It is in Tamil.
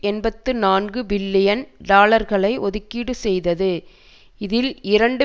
எண்பத்தி நான்கு பில்லியன் டாலர்களை ஒதுக்கீடு செய்தது இதில் இரண்டு